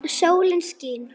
Sólin skín.